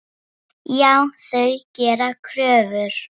Já, þau gera kröfur.